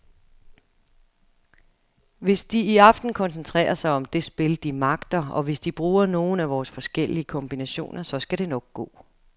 Hvis de i aften koncentrerer sig om det spil, de magter, og hvis de bruger nogle af vores forskellige kombinationer, så skal det nok gå.